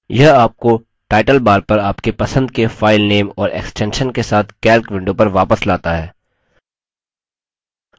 यह आपको title bar पर आपके पसंद के filename और extension के साथ calc window पर वापस लाता है